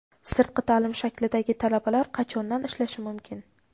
Sirtqi ta’lim shaklidagi talabalar qachondan ishlashi mumkin?.